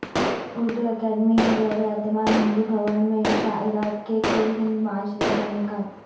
اردو اکادمی کے زیراہتمام ہندی بھون میں شاعرات کے کل ہند مشاعرے کاانعقاد